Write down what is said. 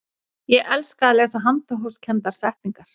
ég elska að lesa handahófskendar settningar